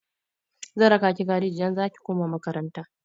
Zan raka ki gareji idan za ki koma makaranta.